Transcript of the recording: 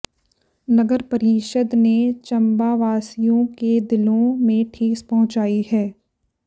नगर परिषद ने चंबावासियों के दिलों में ठेस पहुंचाई है